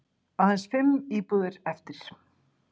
Aðeins fimm íbúðir eftir